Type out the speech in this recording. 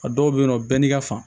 A dɔw bɛ yen nɔ bɛɛ n'i ka fa